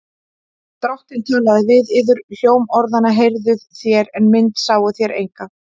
Drottinn talaði við yður. hljóm orðanna heyrðuð þér, en mynd sáuð þér enga.